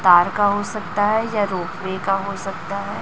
तार का हो सकता है या रोकने का हो सकता है।